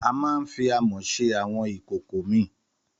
Àmà ń fí àmó sẹ àwón ìkókò mi.